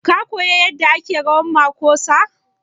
Ka koya yadda ake rawan makosa?